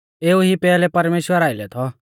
एऊ ई पैहलै परमेश्‍वरा आइलै थौ